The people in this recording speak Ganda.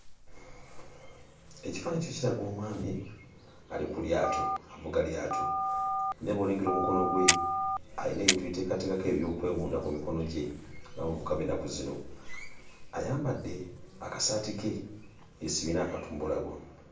Ekifaananyi kino kiraga omwami ali ku lyato avuga lyato naye bw'olengera omukono gwe ayina ebintu bye yeeteekateekako eby'okweyunda ku mikono gye ng'abavubuka b'ennaku zino ayambadde akasaati ke yeesibye n'akantu mbulago.